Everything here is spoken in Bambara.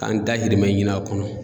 K'an dahirimɛ ɲini a kɔnɔ.